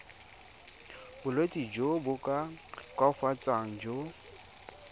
bolwetsi jo bo koafatsang jo